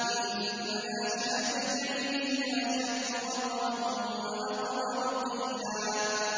إِنَّ نَاشِئَةَ اللَّيْلِ هِيَ أَشَدُّ وَطْئًا وَأَقْوَمُ قِيلًا